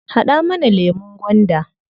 Haɗa mana lemun gwanda.